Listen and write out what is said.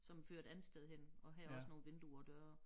Som fører et andet sted hen og her også nogle vinduer døre